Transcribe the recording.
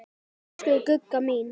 Elsku Gugga mín.